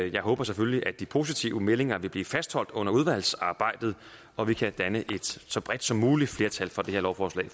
jeg håber selvfølgelig at de positive meldinger vil blive fastholdt under udvalgsarbejdet og vi kan danne et så bredt som muligt flertal for det her lovforslag